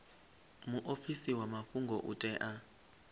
muofisi wa mafhungo u tea